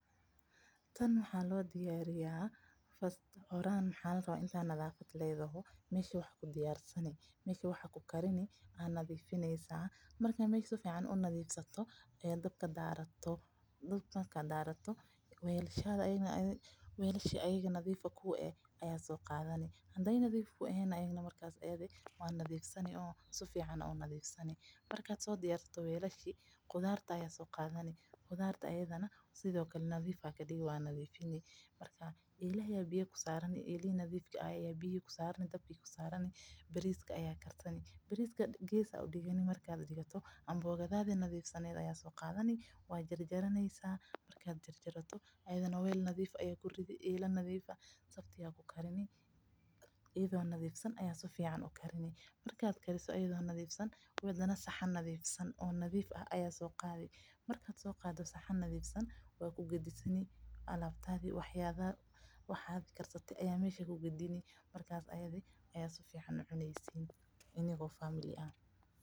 Tan waxaa loo dirariya horta nadifi meesha wax ku karsani, weelasha ayaga oo nadiif ah ayaa soo qaadani, qudarta ayaa soo qaadani, bariiska ayaa karsani, amboogada ayaa soo qadani waa jarjari, saxan nadiif ah ayaa ku gediaani, marka ayaa sifican ucuneysin.